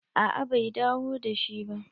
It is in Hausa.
A'a bai dawo da shi ba.